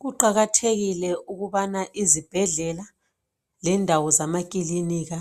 Kuqakathekile ukubana izibhedlela lendawo zamaklinika